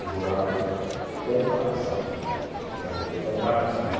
O jurado do comparação, com o do comparativo.